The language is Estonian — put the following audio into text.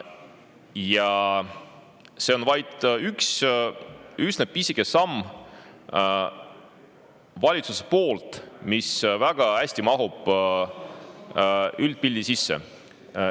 Ja see on valitsuselt vaid üks üsna pisike samm, mis väga hästi mahub üldpildi sisse.